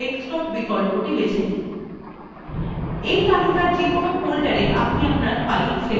you তালিকার যেকোনো foldersa আপনি আপনার file সেভ করতে পারেন